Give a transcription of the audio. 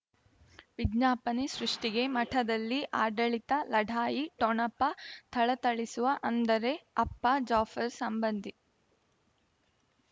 ವಿಜ್ಞಾಪನೆ ಸೃಷ್ಟಿಗೆ ಮಠದಲ್ಲಿ ಆಡಳಿತ ಲಢಾಯಿ ಠೊಣಪ ಥಳಥಳಿಸುವ ಅಂದರೆ ಅಪ್ಪ ಜಾಫರ್ ಸಂಬಂಧಿ